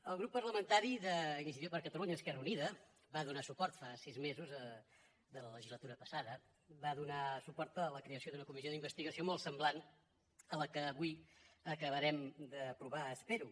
el grup parlamentari d’iniciativa per catalunya verds esquerra unida va donar suport fa sis mesos de la legislatura passada va donar hi suport a la creació d’una comissió d’investigació molt semblant a la que avui acabarem d’aprovar ho espero